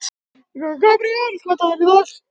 Gabríel, hvaða dagur er í dag?